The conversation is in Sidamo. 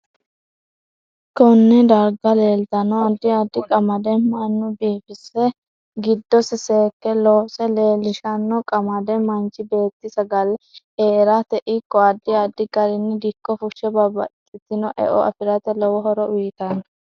Konne darga leeltanno addi addi qamade mannu biifise giddose seeke loose lelishanno qamadde manchi beeti saga'lle heerat ikko addi addi garinni dikko fushe babbaxitino e'o afirate lowo horo uyiitanno